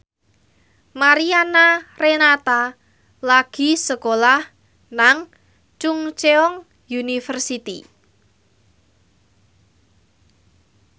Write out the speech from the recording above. Mariana Renata lagi sekolah nang Chungceong University